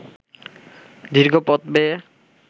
দীর্ঘ পথ বেয়ে